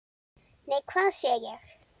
Nei, hvað sé ég!